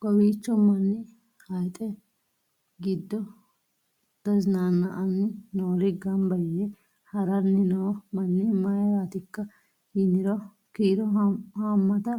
kowiicho manni hayixi giddo tazinaanna'anni noori gamba yee haranni noo manni mayraatikka yiniro kiiro haammata